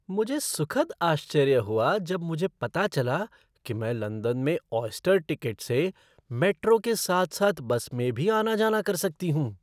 मुझे सुखद आश्चर्य हुआ जब मुझे पता चला कि मैं लंदन में ऑयस्टर टिकट से मेट्रो के साथ साथ बस में भी आना जाना कर सकती हूँ।